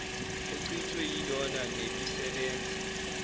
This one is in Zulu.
ochithwe yilona nebisebenza